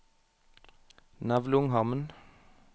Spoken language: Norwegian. Nevlunghamn